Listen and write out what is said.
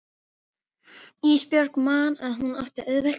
Ísbjörg man að hún átti auðvelt með nám.